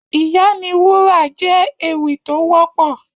Ìyá ni wúrà jè éwì tó wòpò